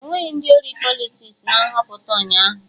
Enweghị ndị ori Politiks na Nhọpụta ụnyaahụ